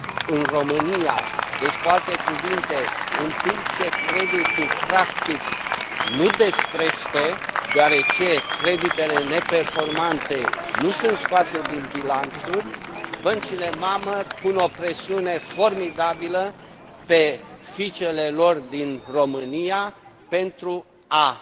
din România. Cu alte cuvinte, în timp ce creditul practic nu descrește, deoarece creditele neperformante nu sunt scoase din bilanțuri, băncile mamă pun o presiune formidabilă pe fiicele lor din România, pentru